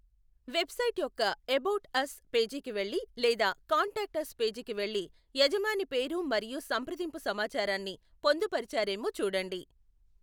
Website యొక్క about us పేజీకి వెళ్లి లేదా కాంటాక్ట్ అస్ పేజీకి వెళ్లి యజమాని పేరు మరియు సంప్రదింపు సమాచారాన్ని పొందుపరిచారేమో చూడండి.